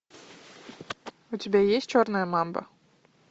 у тебя есть черная мамба